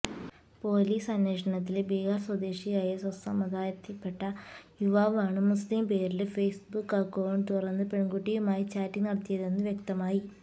police അന്വേഷണത്തില് ബിഹാര് സ്വദേശിയായ സ്വസമുദായത്തില്പെട്ട യുവാവാണ് മുസ്ലിം പേരില് ഫേസ്ബുക്ക് അക്കൌണ്ട് തുറന്ന് പെണ്കുട്ടിയുമായി ചാറ്റിങ് നടത്തിയതെന്നു വ്യക്തമായി